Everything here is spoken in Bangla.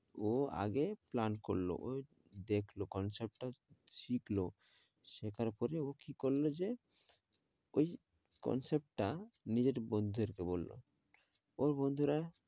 ও আগে plan করলো, দেখলো concept টা শিখল শেখার পরে ও কি করল যে ওই concept টা নিজের বন্ধুদের কে বললো ওর বন্ধুরা